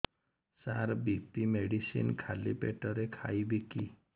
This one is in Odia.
ସାର ବି.ପି ମେଡିସିନ ଖାଲି ପେଟରେ ଖାଇବି କି